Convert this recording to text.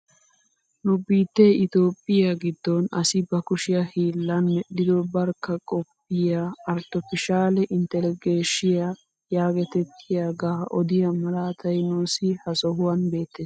Nu biittee itoophphiyaa giddon asi ba kushiyaa hiillan medhdhido barkka qophphiyaa artopiishshale intilligeshiyaa yaagetettiyaaga odiyaa malatay nuusi ha sohuwaan bettees.